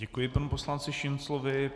Děkuji panu poslanci Šinclovi.